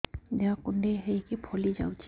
ଦେହ କୁଣ୍ଡେଇ ହେଇକି ଫଳି ଯାଉଛି